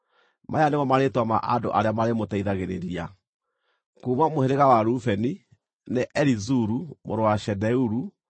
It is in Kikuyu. Maya nĩmo marĩĩtwa ma andũ arĩa marĩmũteithagĩrĩria: kuuma mũhĩrĩga wa Rubeni, nĩ Elizuru mũrũ wa Shedeuru;